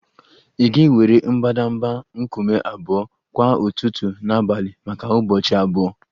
Ị ga-ewere mbadamba nkume abụọ kwa ụtụtụ na abalị maka ụbọchị abụọ